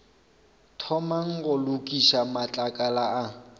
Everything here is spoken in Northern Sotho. thomang go lokiša matlakala a